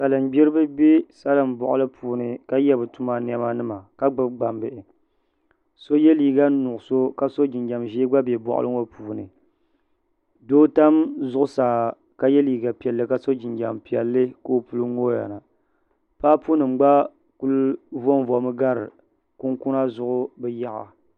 Salim gbiriba bɛ salim bɔɣili puuni ka yɛ bi tuma niɛma nima ka gbubi gbambihi so yɛ liiga nuɣusu ka so jinjam ʒee gba bɛ bɔɣili ŋɔ puuni doo tam zuɣusaa ka yɛ liiga piɛlli ka so jinjam piɛlli ka o puli ŋooya na paapu nima gba kuli vɔ n vɔmi gari kunkuna zuɣu bi yaɣa.